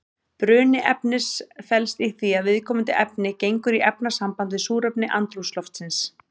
Bruni efnis felst í því að viðkomandi efni gengur í efnasamband við súrefni andrúmsloftsins.